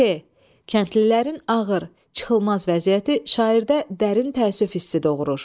Ç. Kəndlilərin ağır, çıxılmaz vəziyyəti şairdə dərin təəssüf hissi doğurur.